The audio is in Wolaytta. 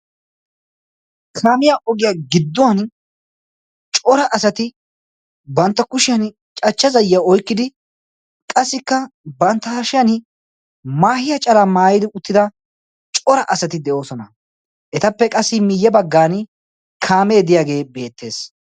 knaamiyaa ogiyaa gidduwan cora asati bantta kushiyan cachcha zayiya oikkidi qassikka bantta hashiyan maahiya caraa maayidi uttida cora asati de7oosona etappe qassi miyye baggan kaamee diyaagee beettees